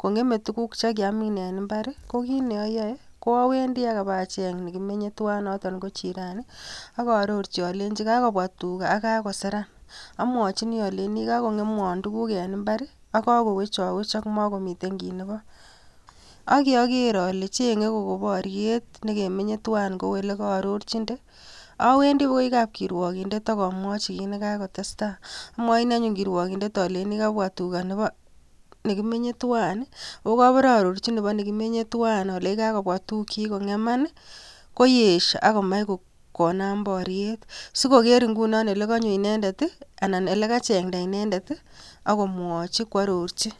kongemei tuguk chekiamin eng imbarko kiy neayoe ko awendi apacheny nekimenyen tuwan noton ko jirani akaarorchi alenjin kakobwa tuga akokako seran amwachini aleini kakongemwon tuguk eng imbar akokakowechok makomiten kiy nebo akyoger ale chenye poriet nekemenye tuwain ku ole akaarorchinde, awendi akoi kap kirwogindet akomwochin kit nikakotestai amwoini anyun kirwogindet aleini kabwa tuga nebo nekimenyen tuwan akobore aarorchin nebo nekimenye tuwain alech kabwa tukchi kongeman koesio akomach konam poriet sikoker ingunon olekanyo inendet anan ole kachengta inendet akomwochi koarorchi